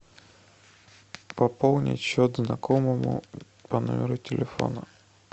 пополнить счет знакомому по номеру телефона